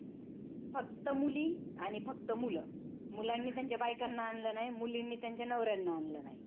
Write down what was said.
फक्त मुल आणि फक्त मुल. मुलांनी त्याच्या बायकांना आणल नाही, मुलीनी त्यांच्या नवर्याला आणलं नाही.